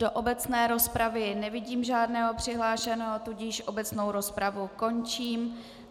Do obecné rozpravy nevidím žádného přihlášeného, tudíž obecnou rozpravu končím.